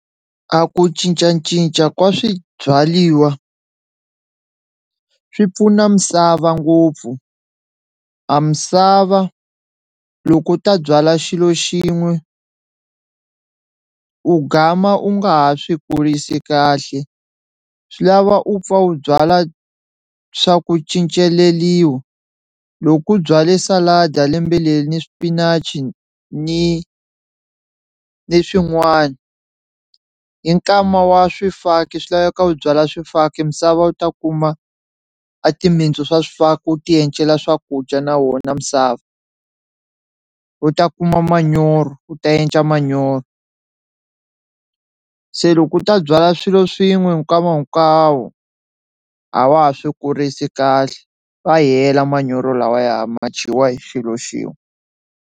A ku cincacinca ka swibyaliwa swi pfuna misava ngopfu a misava loko u ta byala xilo xin'we u gama u nga ha swi kurisi kahle swi lava u pfa u byala swa ku cinceleliwa, loko u byale salad lembe leri ni swipinachi ni ni swin'wana hi nkama wa swifaki swi laveka u byala swifaki misava u ta kuma a timitsu swa swifaki wu ti encela swakudya na wona misava, u ta kuma manyoro u ta enca manyoro se loko u ta byala swilo swin'we hi nkama hinkwavo a wa ha swi kurisi kahle ma hela manyoro lawaya ma ya dyiwa hi xilo xin'we.